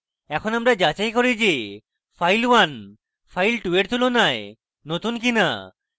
এখানে আমরা যাচাই করি যে file1 file2 তুলনায় নতুন কিনা